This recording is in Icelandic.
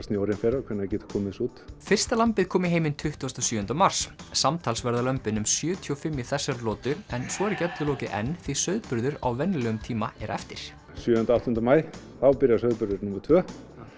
snjórinn fer og hvenær við getum komið þessu út fyrsta lambið kom í heiminn tuttugasta og sjöunda mars samtals verða lömbin um sjötíu og fimm í þessari lotu en svo er ekki öllu lokið enn því sauðburður á venjulegum tíma er eftir sjöunda áttunda maí þá byrjar sauðburður númer tvö